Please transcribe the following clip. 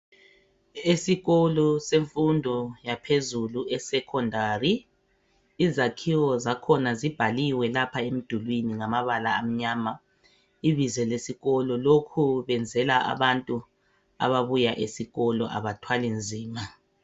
Esikolo semfundo yaphezulu esecondary. Izakhiwo zakhona zibhaliwe lapha emdulini ngamabala amnyama. Ibizo lesikolo lokhu benzela abantu ababuya esikolo abathwali nzima .